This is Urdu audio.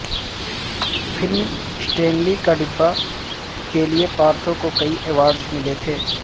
فلم سٹینلی کا ڈبہ کے لیے پارتھو کو کئی ایوارڈز ملے تھے